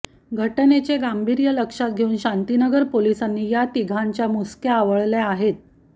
घटनेचे गांभीर्य लक्षात घेऊन शांतीनगर पोलिसांनी या तिघांच्या मुसक्या आवळल्या आहेत